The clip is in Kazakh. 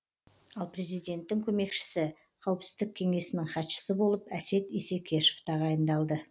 ал президенттің көмекшісі қауіпсіздік кеңесінің хатшысы болып әсет исекешев тағайындалды